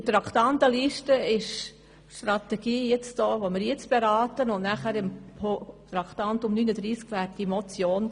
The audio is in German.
Gemäss Traktandenliste würden wir nun die Strategie beraten und erst später die Motion.